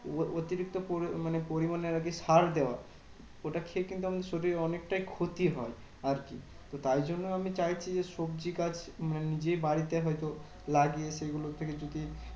অ~ অতিরিক্ত পরি মানে পরিমানে আরকি সার দেওয়া। ওটা খেয়ে কিন্তু আমার শরীর অনেকটাই ক্ষতি হয়। আর তো তাই জন্য আমি চাইছি যে, সবজি গাছ মানে নিযে বাড়িতে হয়তো লাগিয়ে সেগুলো থেকে যদি